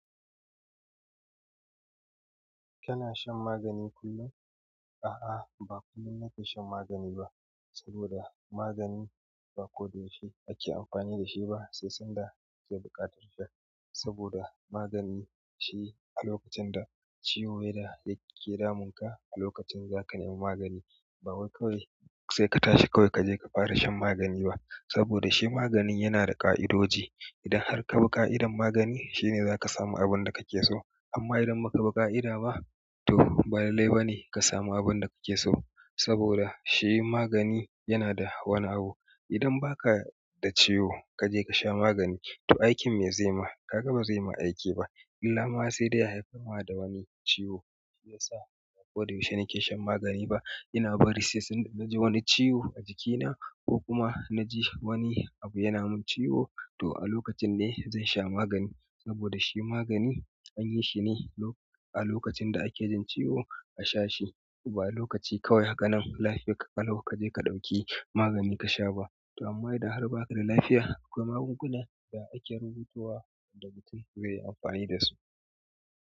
Kana shan magani kullum? A'a, ba kullum nake shan magani ba saboda magani ba koda yaushe ake amfani da shi ba, sai sanda zai buƙatar shi. Saboda magani shi a lokacin da ciwo ya dake damunka, a lokacin za ka nema magani. Ba wai kawai sai ka tashi kawai ka je ka fara shan magani ba. Saboda shi magani yana da ƙa'idoji. Idan har ka bi ƙa'idar magani, shine za ka samu abun da ka ke so. Amma idan ba ka bi ƙa'ida ba, to ba lallai bane ka samu abun da ka ke so. Saboda shi magani yana da wani abu. Idan ba ka da ciwo ka je ka sha magani, to aikin me zai ma? Kaga ba zai ma aiki ba. Illa ma sai da ya haifar ma da wani ciwo, shi ya sa ba koda yaushe nake shan magani ba. Ina bari sai sanda na ji wani ciwo a jikina ko kuma na ji wani abu yana min ciwo, to a lokacin ne zan sha magani. Saboda shi magani an yi shi ne a lokacin da ake jin ciwo a sha shi, ba lokaci kawai haka nan lafiyar ka ƙalau ka je ka ɗauki magani ka sha ba. To amma idan har ba ka da lafiya, akwai magunguna da ake rubutuwa da mutum zai yi amfani da su.